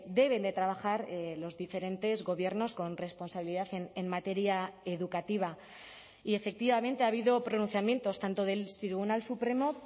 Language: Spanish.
deben de trabajar los diferentes gobiernos con responsabilidad en materia educativa y efectivamente ha habido pronunciamientos tanto del tribunal supremo